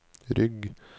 rygg